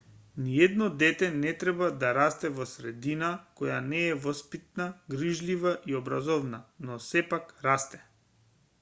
ниедно дете не треба да расте во средина која не е воспитна грижлива и образовна но сепак расте